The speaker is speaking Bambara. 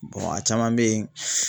Bɔn a caman be yen